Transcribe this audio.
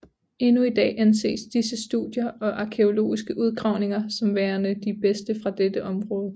Endnu i dag anses disse studier og arkæologiske udgravninger som værende de bedste fra dette område